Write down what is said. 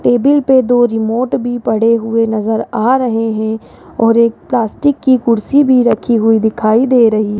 table पे दो remote भी पड़े हुए नजर आ रहे है और एक प्लास्टिक की कुर्सी भी रखी हुई दिखाई दे रही --